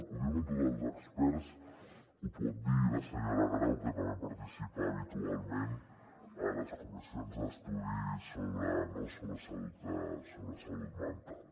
ho diuen tots els experts ho pot dir la senyora grau que també participa habitualment a les comissions d’estudi sobre salut mental